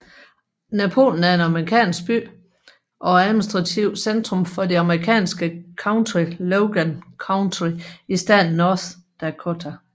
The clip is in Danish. Napoleon er en amerikansk by og administrativt centrum for det amerikanske county Logan County i staten North Dakota